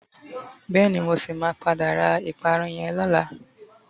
Beeni. Mo si ma pada ra iparun yen lola